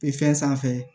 E fɛn sanfɛ